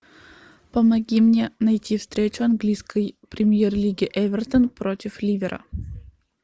помоги мне найти встречу английской премьер лиги эвертон против ливера